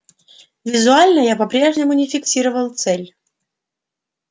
визуально я по-прежнему не фиксировал цель